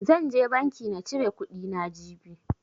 Zan je banki na cire kuɗi na, jibi.